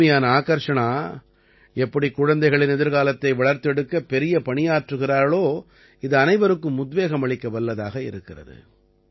சிறுமியான ஆகர்ஷணா எப்படி குழந்தைகளின் எதிர்காலத்தை வளர்த்தெடுக்க பெரிய பணியாற்றுகிறாளோ இது அனைவருக்கும் உத்வேகம் அளிக்க வல்லதாக இருக்கிறது